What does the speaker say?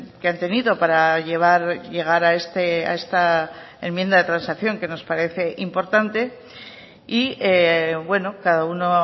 que han tenido para llegar a esta enmienda de transacción que nos parece importante y bueno cada uno